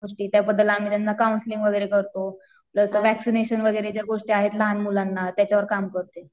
त्याबद्दल आम्ही त्यांना कौन्सलिंग वगैरे करतो. जसं वॅक्सिनेशन वगैरे ज्या गोष्टी आहेत लहान मुलांना त्याच्यावर काम करते.